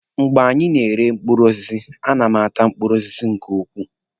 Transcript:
Mgbe anyị na-ere mkpụrụ osisi, a na m ata mkpụrụ osisi nke ukwuu.